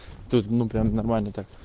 тут ну прям нормально так